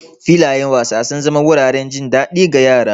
Filayen wasa sun zama wuraren jin daɗi ga yara.